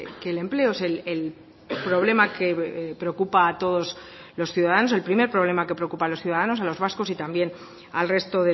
que el empleo es el problema que preocupa a todos los ciudadanos el primer problema que preocupa a los ciudadanos a los vascos y también al resto